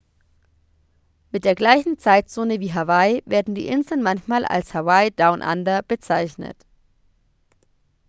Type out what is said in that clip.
mit der gleichen zeitzone wie hawaii werden die inseln manchmal als hawaii down under bezeichnet